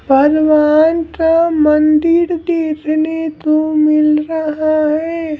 भगवान का मंदिर देखने को मिल रहा है।